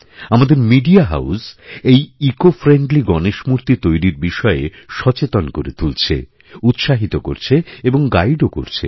আমাদের media house এই ecofriendly Ganesh মূর্তি তৈরিরবিষয়ে সচেতন করে তুলছে উৎসাহিত করছে এবং গাইড ও করছে